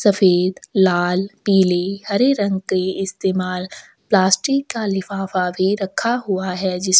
सफ़ेद लाल पिले हरे रंग के इस्तेमाल प्लास्टिक का लिफाफा भी रखा हुआ हैं जिसमें--